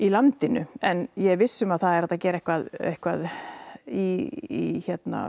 landinu en ég er viss um að það er hægt að gera eitthvað eitthvað í